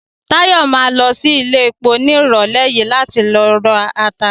Táyọ̀ ma lọ sí iléepo ní ìrọ̀lẹ́ yìí láti ló rata